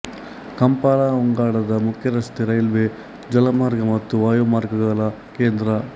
Kampala ಉಗಾಂಡದ ಮುಖ್ಯರಸ್ತೆ railway ಜಲಮಾರ್ಗ ಮತ್ತು ವಾಯುಮಾರ್ಗಗಳ ಕೇಂದ್ರ